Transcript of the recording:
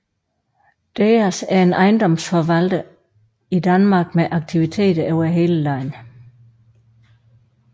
DEAS er en ejendomsforvalter i Danmark med aktiviteter over hele landet